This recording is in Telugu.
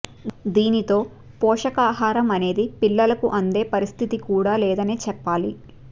దీనితో పోషకాహారం అనేది పిల్లలకు అందే పరిస్థితి కూడా లేదనే చెప్పాలి